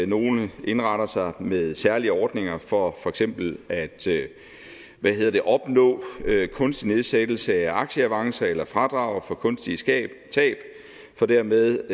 nogle indretter sig med særlige ordninger for for eksempel at opnå kunstig nedsættelse af aktieavancer eller fradrag for kunstige tab tab for dermed